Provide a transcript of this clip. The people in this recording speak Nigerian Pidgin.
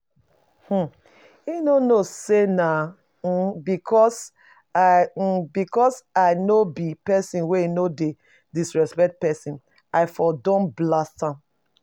um He no know say nah um because I um because I no be person wey no dey disrespect person i for don blast am